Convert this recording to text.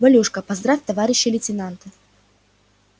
валюшка поздравь товарища лейтенанта